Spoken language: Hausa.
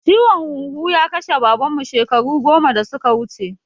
Ciwon huhu ya kashe Baban mu shekaru goma da suka wuce